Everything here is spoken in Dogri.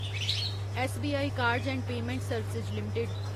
SBI cards and payment services limited